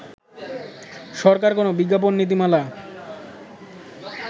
সরকার কোন বিজ্ঞাপন নীতিমালা